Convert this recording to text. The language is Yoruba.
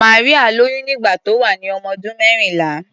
Maria lóyún nígbà tó wà ní ọmọdún mẹ́rìnlá.